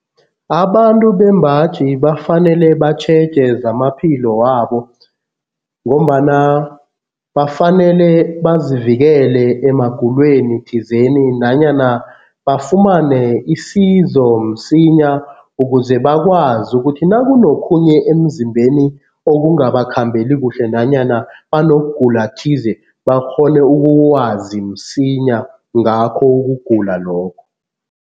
Abantu bembaji bafanele batjheje zamaphilo wabo ngombana bafanele bazivikele emagulweni thizeni nanyana bafumane isizo msinya ukuze bakwazi ukuthi nakunokhunye emzimbeni okungabakhambeli kuhle nanyana banokugula thize, bakghone ukwazi msinya ngakho ukugula lokho.